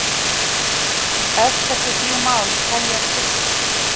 Öll þessi þrjú mál teljast upplýst